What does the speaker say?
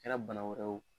Kɛra bana wɛrɛ ye o